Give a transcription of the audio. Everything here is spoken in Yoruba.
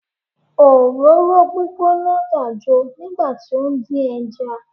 Òróró gbígbóná dàjo nígbà tí ó ń dín ẹja.